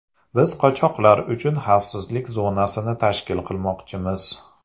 Biz qochoqlar uchun xavfsizlik zonasini tashkil qilmoqchimiz.